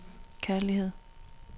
kærlighed